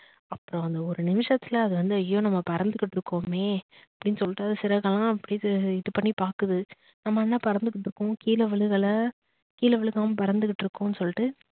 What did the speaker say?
அப்புறம் அந்த ஒரு நிமிஷத்துல அது வந்து ஐயோ நம்ப பறந்துகிட்டு இருக்கோமே அப்படின்னு சொலிட்டு அத சிறகா அப்படின்னு இது பண்ணி பாக்குது நம்ம என்ன பறந்துகிட்டு இருக்கோம் கீழ விழுகல கீழ விழுகாம பறந்துட்டு இருக்கும்னு சொல்லிட்டு